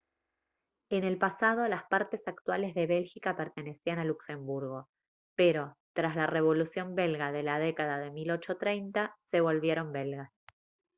en el pasado las partes actuales de bélgica pertenecían a luxemburgo pero tras la revolución belga de la década de 1830 se volvieron belgas